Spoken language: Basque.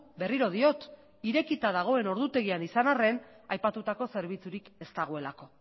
berriro diot irekita dagoen ordutegian izan arren aipatutako zerbitzurik ez dagolako